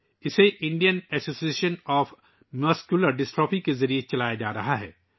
اسے Indian association of muscular dystrophy کے ذریعے چلایا جا رہا ہے